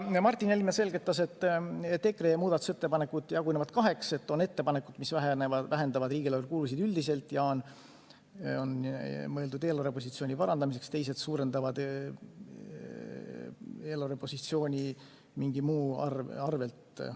Martin Helme selgitas, et EKRE muudatusettepanekud jagunevad kaheks: on ettepanekud, mis vähendavad riigieelarve kulusid üldiselt ja on mõeldud eelarvepositsiooni parandamiseks, teised suurendavad eelarvepositsiooni millegi muu arvel.